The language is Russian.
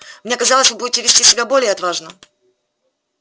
мне казалось вы будете вести себя более отважно